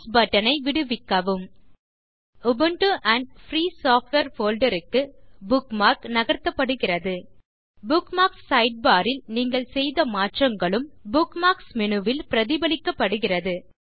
mass button ஐ விடுவிக்கவும் Ubuntu and free software folder க்கு புக்மார்க் நகர்த்தப்படுகிறது புக்மார்க்ஸ் சைட்பார் ல் நீங்கள் செய்த மாற்றங்களும் புக்மார்க்ஸ் மேனு ல் பிரதிபலிக்கபடுகிறது